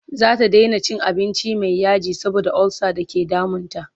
zata Daina cin abinci Mai yaji saboda ulsa da ke damun ta